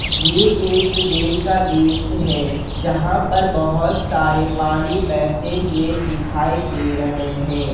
ये एक डैम का दृश्य है जहां पर बहोत सारे पानी बैठे हुए दिखाई दे रहे हैं।